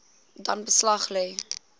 dan beslag lê